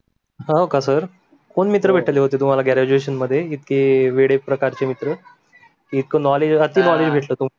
हो का सर, कोण मित्र भेटले होते graduation मध्ये इतके वेढे प्रकारचे मित्र इतक knowledge रहाते न आम्ही भेटू शकू